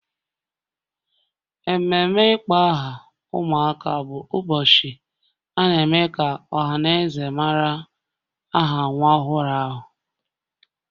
Ememe ịkpọ aha ụmụaka bụ ụbọchị a na-eme ka ọha na eze mara aha nwa ọhụrụ ahụ